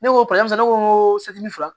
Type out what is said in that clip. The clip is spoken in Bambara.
Ne ko ne ko n ko